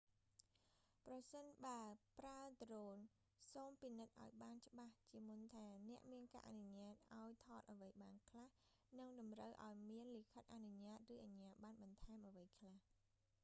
ប្រសិនបើប្រើដ្រូន សូមពិនិត្យឱ្យបានច្បាស់ជាមុនថា អ្នកមានការអនុញ្ញាតឱ្យថតអ្វីបានខ្លះ និងតម្រូវឱ្យមានលិខិតអនុញ្ញាត ឬអជ្ញាបណ្ណបន្ថែមអ្វីខ្លះ